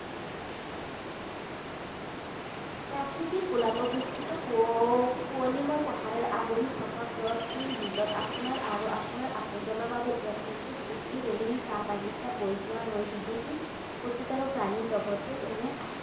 প্ৰকৃতিৰ কোলাত অৱস্থিত কুঁৱ কুঁৱলীময় পাহাৰে আগুৰি থকা ব্ৰডবেণ্ড ৰিজৰ্ট আপোনাৰ আৰু আপোনাৰ আপোনজনৰ বাবে এক নিখুঁত ছুটিৰ ৰেলিং চাহবাগিছা, বৈ যোৱা নৈ, বিদেশী উদ্ভিত আৰু প্ৰাণীজগতে এনে